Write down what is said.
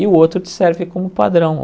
E o outro serve como padrão.